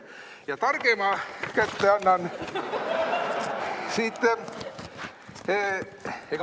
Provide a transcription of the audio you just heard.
Ja targema kätte annan siit.